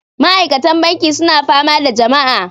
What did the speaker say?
Ma'aikatan banki suna fama da jama'a